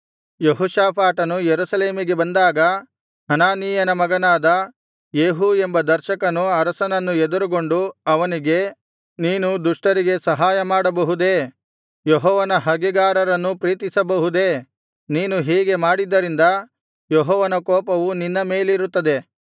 ಯೆಹೋಷಾಫಾಟನು ಯೆರೂಸಲೇಮಿಗೆ ಬಂದಾಗ ಹನಾನೀಯನ ಮಗನಾದ ಯೇಹೂ ಎಂಬ ದರ್ಶಕನು ಅರಸನನ್ನು ಎದುರುಗೊಂಡು ಅವನಿಗೆ ನೀನು ದುಷ್ಟರಿಗೆ ಸಹಾಯ ಮಾಡಬಹುದೇ ಯೆಹೋವನ ಹಗೆಗಾರರನ್ನು ಪ್ರೀತಿಸಬಹುದೇ ನೀನು ಹೀಗೆ ಮಾಡಿದ್ದರಿಂದ ಯೆಹೋವನ ಕೋಪವು ನಿನ್ನ ಮೇಲಿರುತ್ತದೆ